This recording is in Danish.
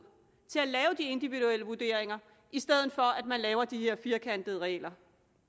til at lave de individuelle vurderinger i stedet for at man laver de her firkantede regler